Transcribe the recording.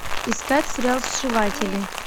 искать сериал сшиватели